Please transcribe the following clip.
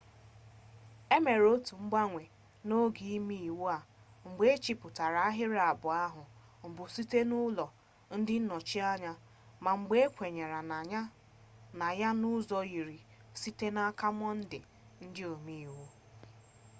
e mere otu mgbanwe n'oge imeiwu a mgbe ehichapụrụ ahịrị abụọ ahụ mbụ site n'aka ụlọ ndị nnọchiteanya ma mgbe ahụ ekwenye na ya n'ụzọ yiri site n'aka mọnde ndị omeiwu